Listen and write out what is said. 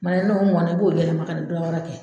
Kuma na n'o mɔn na, i b'o yɛlɛma ka taa dɔ wɛrɛ kɛ